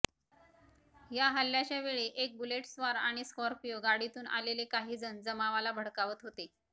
या हल्ल्याच्या वेळी एक बुलेटस्वार आणि स्कॉर्पिओ गाडीतून आलेले काही जण जमावाला भडकावत होते